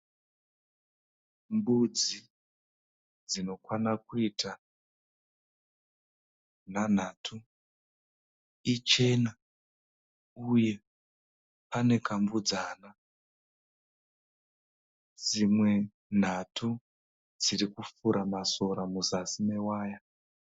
Mbudzi dzinokwana kuita nhanhatu, ichena uye pane kambudzana. Dzimwe nhatu dziri kufura masora muzasi mewaya.